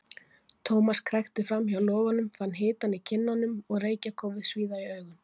Thomas krækti fram hjá logunum, fann hitann í kinnunum og reykjarkófið svíða í augun.